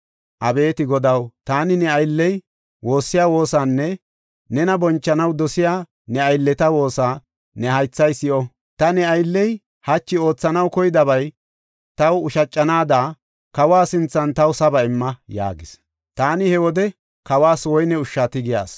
Abeeti Godaw, taani ne aylley woossiya woosaanne nena bonchanaw dosiya, ne aylleta woosa ne haythay si7o. Ta ne aylley hachi oothanaw koyidabay taw ushacanaada, kawa sinthan taw saba imma” yaagas. Taani he wode kawas woyne ushsha tigiya asi.